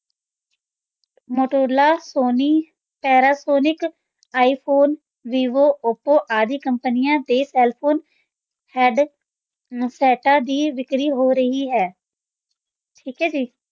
Motorola, Sony, Panasonic, iPhone, Vivo, Oppo, ਆਦਿ ਕੰਪਨੀਆਂ ਦੇ cell phone ਹੈਂਡ-ਸੈੱਟਾਂ ਦੀ ਵਿਕਰੀ ਹੋ ਰਹੀ ਹੈ ਠੀਕ ਹੈ ਜੀ।